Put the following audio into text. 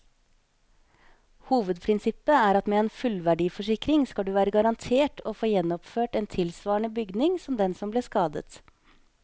Hovedprinsippet er at med en fullverdiforsikring skal du være garantert å få gjenoppført en tilsvarende bygning som den som ble skadet.